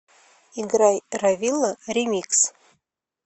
играй ровило ремикс